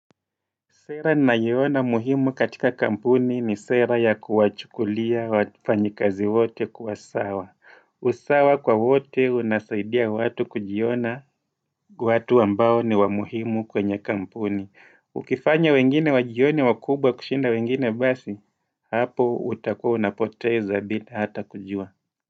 Sera ninayoona muhimu katika kampuni ni sera ya kuwachukulia wafanyikazi wote kwa sawa. Usawa kwa wote unasaidia watu kujiona watu ambao ni wa muhimu kwenye kampuni. Ukifanya wengine wajione wakubwa kushinda wengine basi, hapo utakua unapoteza bila hata kujua.